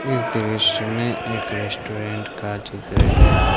इस दृश्य में एक रेस्टोरेंट का चित्र है।